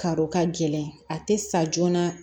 Karo ka gɛlɛn a tɛ sa joona